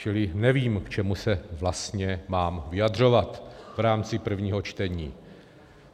Čili nevím, k čemu se vlastně mám vyjadřovat v rámci prvního čtení.